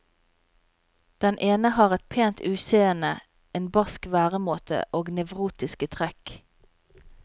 Den ene har et pent utseende, en barsk væremåte og nevrotiske trekk.